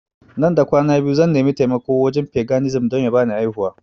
Nan da kwana biyu zan nimi taimako a wajen paganism don ya bani aihuwa